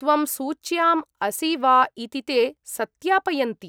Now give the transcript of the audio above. त्वं सूच्याम् असि वा इति ते सत्यापयन्ति।